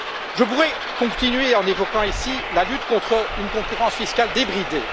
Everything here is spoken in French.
Je voudrais continuer en évoquant la lutte contre une concurrence fiscale débridée.